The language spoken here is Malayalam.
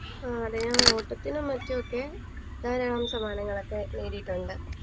എ അതെ ഞാൻ ഓട്ടത്തിനും മറ്റൊക്കെ ധാരാളം സമ്മാനങ്ങളൊക്കെ നേടിയിട്ടുണ്ട്